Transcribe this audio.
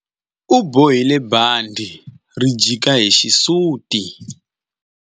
U bohile bandhi ri jika hi xisuti.